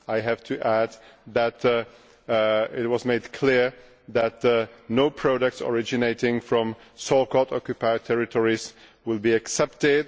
I have to add that it was made clear that no products originating from the so called Occupied Territories will be accepted.